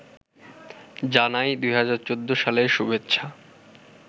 জানাই ২০১৪ সালের শুভেচ্ছা